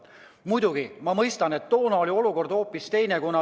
Muidugi, ma mõistan, et toona oli olukord hoopis teine.